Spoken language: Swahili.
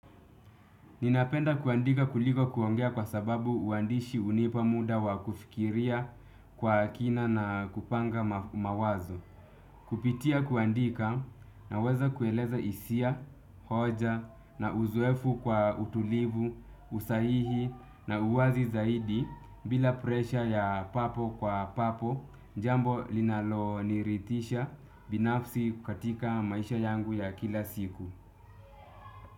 Ninapenda kuandika kuliko kuongea kwa sababu uandishi hunipa muda wa kufikiria kwa kina na kupanga mawazo. Kupitia kuandika naweza kueleza hisia, hoja na uzoefu kwa utulivu, usahihi na uwazi zaidi bila presha ya papo kwa papo jambo linaloniridhisha binafsi katika maisha yangu ya kila siku.